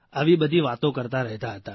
આવી બધી વાતો કરતા રહેતા હતા